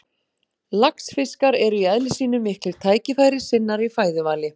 Laxfiskar eru í eðli sínu miklir tækifærissinnar í fæðuvali.